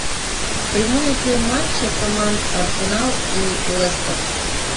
прямой эфир матча команд арсенал и лестер